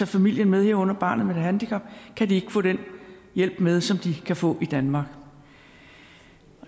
familien med herunder barnet med handicap kan de ikke få den hjælp med som de kan få i danmark og